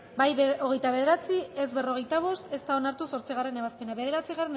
bozketaren emaitza onako izan da hirurogeita hamalau